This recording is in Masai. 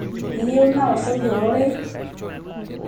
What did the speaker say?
iyieu naoshoki ororei